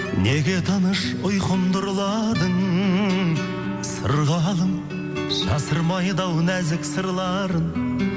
неге тыныш ұйқымды ұрладың сырғалым жасырмайды ау нәзік сырларын